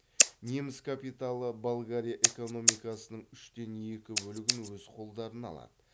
неміс капиталы болгария экономикасының үштен екі бөлігін өз қолдарына алады